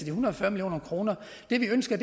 en hundrede og fyrre million kroner det vi ønsker